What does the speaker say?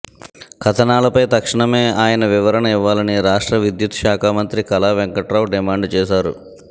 కథనాలపై తక్షణమే ఆయన వివరణ ఇవ్వాలని రాష్ట్ర విద్యుత్ శాఖ మంత్రి కళా వెంకట్రావు డిమాండ్ చేశారు